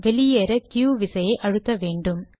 வெளியேற க்யு விசையை அழுத்த வேண்டும்